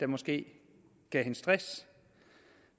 måske stress